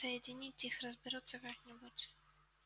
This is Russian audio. соединить их разберутся как-нибудь